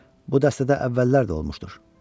Bu dəstədə əvvəllər də olmuşdur.